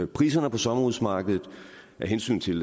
priserne på sommerhusmarkedet og af hensyn til